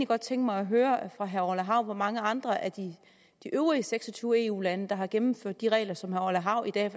godt tænke mig at høre fra herre orla hav hvor mange andre af de øvrige seks og tyve eu lande der har gennemført de regler som herre orla hav i dag